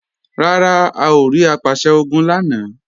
Rárá, a ò rí Apàṣẹ-Ogun lánàá